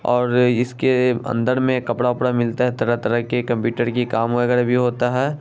--और इसके अंदर में कपड़ा वपड़ा मिलता है तरह-तरह की कंप्यूटर का काम वगैरा भी होता है ।